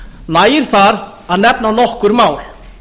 nægir þar að nefna nokkur mál